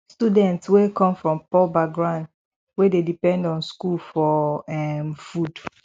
students wey come from poor background wey dey depend on school for um food